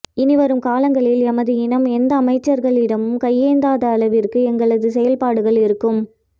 இனிவரும் காலங்களில் எமது இனம் எந்த அமைச்சர்களிடமும் கையேந்தாத அளவிற்கு எங்களது செயற்பாடுகள் இருக்கும்